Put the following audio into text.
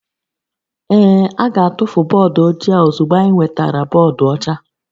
Ee, a ga-atụfu bọọdụ ojii a ozugbo anyị nwetara bọọdụ ọcha